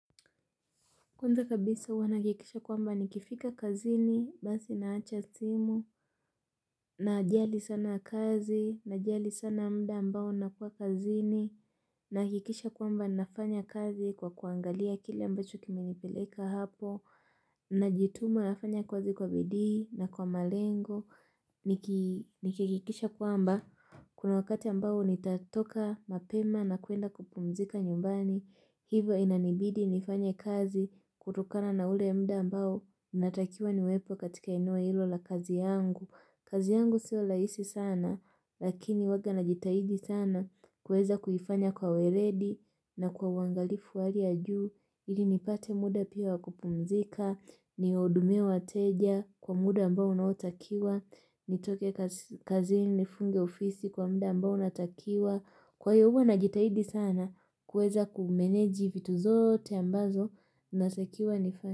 Kwanza kabisa wana kikisha kwamba nikifika kazini, basi naacha simu, na jali sana kazi, na jali sana mda ambao nakua kazini, nahakikisha kwamba nafanya kazi kwa kuangalia kile ambacho kime nipeleka hapo, na jituma nafanya kazi kwa bidi na kwa malengo, nihakikisha kwamba. Kuna wakati ambao nitatoka mapema na kuenda kupumzika nyumbani, hivyo inanibidi nifanya kazi kutokana na ule mda ambao natakiwa niwepo katika enua hilo la kazi yangu. Kazi yangu sio rahisi sana, lakini huwanga najitahidi sana kuweza kuifanya kwa weredi na kwa wangalifu wa hali ya juu. Ili nipate muda pia wakupumzika, nihudumie wateja kwa muda ambao unaotakiwa, nitoke kazini nifunge ofisi kwa muda ambao unatakiwa. Kwa hiyo hua najitahidi sana kuweza kumeneji vitu zote ambazo natakiwa nifanya.